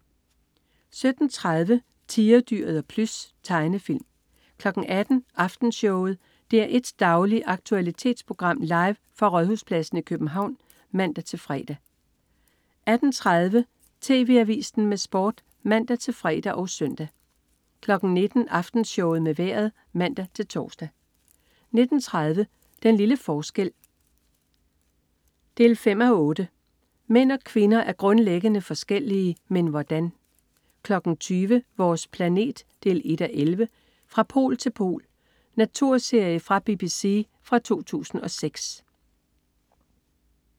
17.30 Tigerdyret og Plys. Tegnefilm 18.00 Aftenshowet. DR1s daglige aktualitetsprogram, live fra Rådhuspladsen i København (man-fre) 18.30 TV Avisen med Sport (man-fre og søn) 19.00 Aftenshowet med Vejret (man-tors) 19.30 Den lille forskel 5:8. Mænd og kvinder er grundlæggende forskellige. Men hvordan? 20.00 Vores planet 1:11. "Fra pol til pol". Naturserie fra BBC fra 2006